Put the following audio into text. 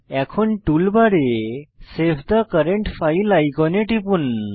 এখন টুলবারে save the current file আইকনে টিপুন